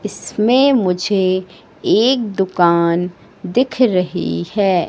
इसमें मुझे एक दुकान दिख रही है।